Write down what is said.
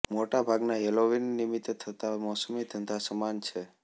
મોટા ભાગના હેલોવીન નિમિત્તે થતા મોસમી ધંધા સમાન છે